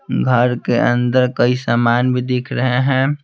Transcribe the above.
घर के अंदर कई सामान भी दिख रहे हैं।